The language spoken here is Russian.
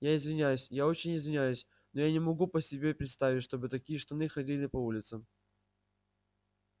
я извиняюсь я очень извиняюсь но я не могу себе представить чтобы такие штаны ходили по улицам